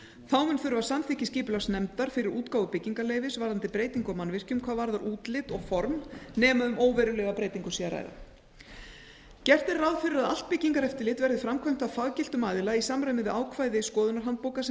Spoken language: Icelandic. þá mun þurfa samþykki skipulagsnefndar fyrir útgáfu byggingarleyfis varðandi breytingu á mannvirkjum hvað varðar útlit og form nema um óverulega breytingu sé að ræða gert er ráð fyrir að allt byggingareftirlit verði framkvæmt af faggiltum aðila í samræmi við ákvörðun skoðunarhandbókar sem